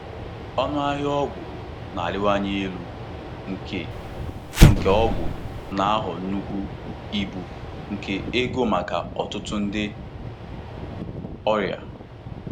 Ọnụ ahịa ọgwụ na-arịwanye elu nke nke ọgwụ na-aghọ nnukwu ibu nke ego maka ọtụtụ ndị ọrịa.